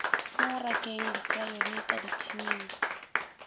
mo rakeng dikrayoni ka dithining